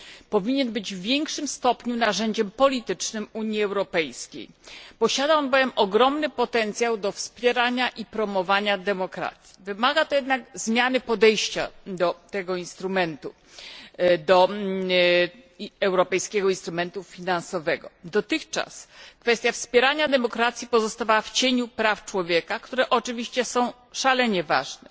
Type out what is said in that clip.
Powinien być w większym stopniu narzędziem politycznym Unii Europejskiej, posiada on bowiem ogromny potencjał do wspierania i promowania demokracji. Wymaga to jednak zmiany podejścia do tego europejskiego instrumentu finansowego. Dotychczas kwestia wspierania demokracji pozostawała w cieniu praw człowieka, które oczywiście są szalenie ważne.